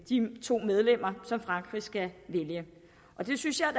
de to medlemmer som frankrig skal vælge det synes jeg